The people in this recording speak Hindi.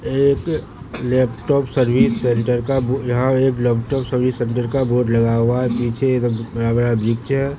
एक लैपटॉप सर्विस सेंटर का वो यहां एक लैपटॉप सर्विस सेंटर का बोर्ड लगा हुआ है नीचे ये बड़ा बड़ा वृक्ष है।